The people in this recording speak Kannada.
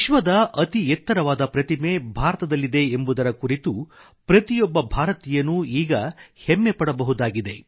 ವಿಶ್ವದ ಅತಿ ಎತ್ತರವಾದ ಪ್ರತಿಮೆ ಭಾರತದಲ್ಲಿದೆ ಎಂಬುದರ ಕುರಿತು ಪ್ರತಿಯೊಬ್ಬ ಭಾರತೀಯನೂ ಈಗ ಹೆಮ್ಮೆ ಪಡಬಹುದಾಗಿದೆ